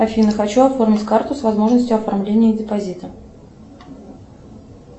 афина хочу оформить карту с возможностью оформления депозита